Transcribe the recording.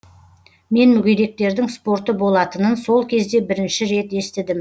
мен мүгедектердің спорты болатынын сол кезде бірінші рет естідім